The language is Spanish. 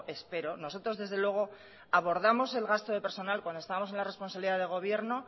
espero nosotros desde luego abordamos el gasto de personal cuando estamos en la responsabilidad de gobierno